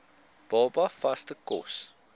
baba vaste kos